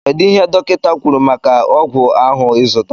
kedụ ihe dọkita kwụrụ maka ọgwụ ahụ izụtara?